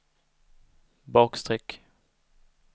bakstreck